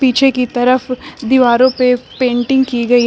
पीछे की तरफ दीवारों पे पेंटिंग की गई है।